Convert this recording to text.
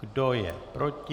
Kdo je proti?